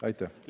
Aitäh!